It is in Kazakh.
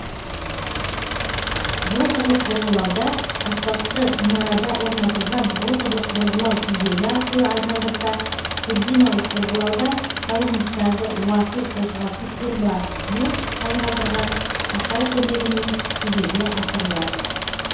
роторлық бұрғылауда аспапты мұнарада орнатылған роторлық бұрғылау тізбегі арқылы айналдырса тұрбиналық бұрғылауда таужыныстарды уату қозғалтқыш турбобур айналдырған қашау көмегімен жүзеге асырылады